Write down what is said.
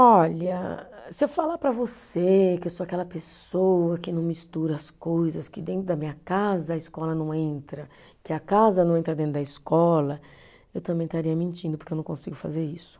Olha, se eu falar para você que eu sou aquela pessoa que não mistura as coisas, que dentro da minha casa a escola não entra, que a casa não entra dentro da escola, eu também estaria mentindo porque eu não consigo fazer isso.